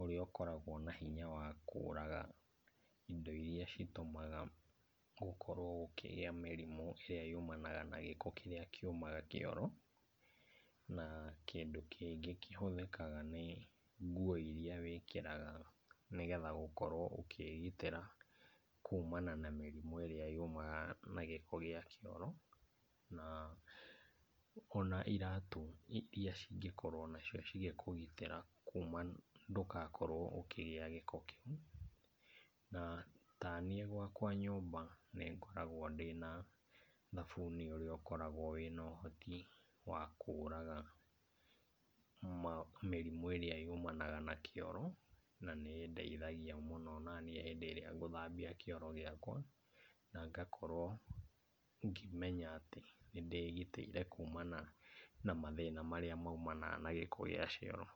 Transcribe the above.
ũrĩa ũkoragwo na hinya wa kũraga indo iria citũmaga gũkorwo gũkĩgia mĩrimũ ĩrĩa yumanaga na gĩko kĩrĩa kiumaga kĩoro, na kĩndũ kĩngĩ kĩhothĩkaga nĩ nguo iria wĩkĩraga. nĩ getha gũkorwo ũkĩgitĩra kũmana na mĩrimũ arĩa yumaga na gĩko gĩa kĩoro, na ona iratũ iria cingĩkorwo o nacio cigĩkũgitĩra kũmana ndũgakorwo ũkĩgia gĩko kĩu, na taniĩ gwakwa nyũmba, nĩ ngoragwo ndĩna thabuni ũrĩa ũkoragwo wĩna ũhoti wa kũraga ma mĩrimũ ĩrĩa yumanaga na kĩoro, na nĩĩndeithagia mũno onaniĩ hĩndĩ ĩrĩa ngũthambia kĩoro gĩakwa, na ngakorwo ngĩmenya atĩ, nĩ ndĩgitĩire kumana na mathĩna marĩa maimanaga na gĩko gĩa cioro.